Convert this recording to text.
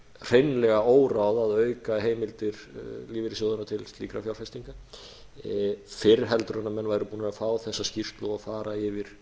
hreinlega óráð að auka heimildir lífeyrissjóðanna til slíkra fjárfestinga fyrr en menn væru búnir að fá þessa skýrslu og fara yfir